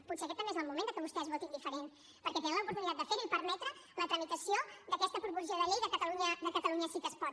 potser també aquest és el moment que vostès votin diferent perquè tenen l’oportunitat de ferho i permetre la tramitació d’aquesta proposició de llei de catalunya sí que es pot